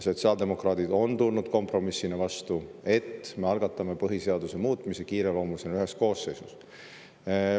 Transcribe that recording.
Sotsiaaldemokraadid on tulnud kompromissina vastu, et me algatame põhiseaduse muutmise kiireloomulisena ühes koosseisus.